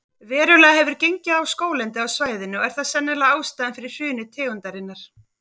Verulega hefur gengið á skóglendið á svæðinu og er það sennilega ástæðan fyrir hruni tegundarinnar.